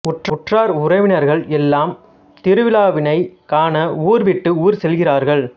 உற்றார் உறவினர்கள் எல்லாம் திருவிழாவினைக் காண ஊர் விட்டு ஊர் செல்கிறார்கள்